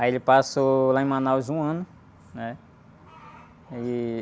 Aí ele passou lá em Manaus um ano, né? E...